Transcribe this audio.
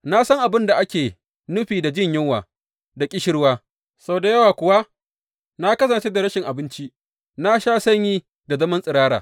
Na san abin da ake nufin da jin yunwa da ƙishirwa, sau da yawa kuwa na kasance da rashin abinci, na sha sanyi da zaman tsirara.